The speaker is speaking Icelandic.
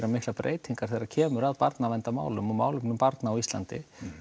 breytingar þegar kemur að barnaverndarmálum og málum barna á Íslandi